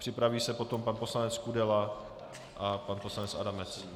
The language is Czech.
Připraví se potom pan poslanec Kudela a pan poslanec Adamec.